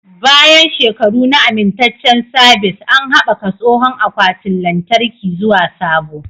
Bayan shekaru na amintaccen sabis, an haɓaka tsohon akwatin lantarki zuwa sabo.